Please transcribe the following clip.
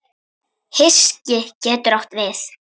Hyski getur átt við